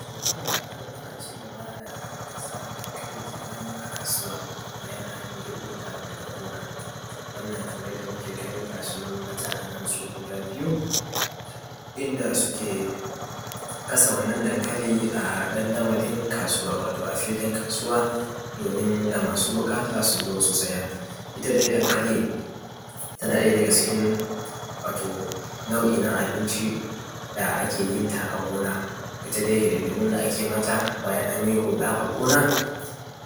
To ana kar ana cigaba da kasa dankali kenan a kasuwa bayan an girbota daga gona. Wannan kamar yadda muke gani gasunan bata anan su guda biyu inda suke kasa wannan dankali a dandamalin kasuwa watoa filin kasuwa domin masu buƙata suzo su siya. Ita dai dankali tana ɗaya daga cikin wato nau’i na abinci da ake yenta a gona. Ita dai hidin dimun da ake mata bayan anyi huɗa a gona